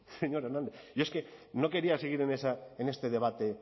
señor hernández yo es que no quería seguir en este debate